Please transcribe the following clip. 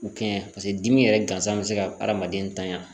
U kɛɲɛn paseke dimi yɛrɛ gansan bɛ se ka adamaden tanya